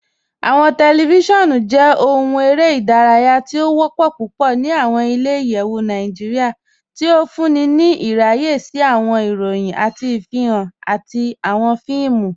Awọn tẹlifíṣíọnu jẹ̀ òhùn èrè idáràyà tì o wọ́pọ̀ púpọ̀ ní awọn ilẹ̀-ìyẹ̀wù Nàìjíríà, tí ó fúnńí ní ìràyẹ̀ sí awọn ìròyìn, awọn ìfihan, àti awọn fíìmù.